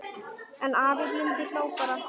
En afi blindi hló bara.